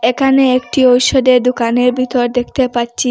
এখানে একটি ওষুধের দোকানের ভিতর দেখতে পাচ্চি।